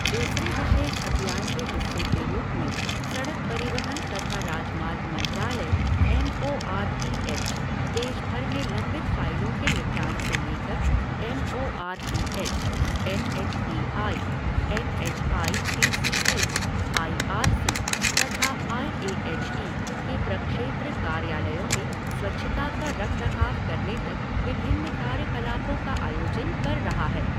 दूसरे विशेष अभियान के हिस्से के रूप में, सड़क परिवहन तथा राजमार्ग मंत्रालय M O R T H देशभर में लंबित फ़ाइलों के निपटान से लेकर M O R T H, N H A I, N H I D C L, I R C तथा आई ए एच ई के प्रक्षेत्र कार्यालयों में स्वच्छता का रखरखाव करने तक विभिन्न कार्यकलापों का आयोजन कर रहा है।